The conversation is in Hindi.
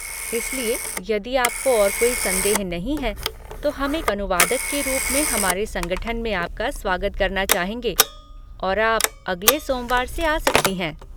इसलिए, यदि आपको और कोई संदेह नहीं है तो हम एक अनुवादक के रूप में हमारे संगठन में आपका स्वागत करना चाहेंगे और आप अगले सोमवार से आ सकती हैं।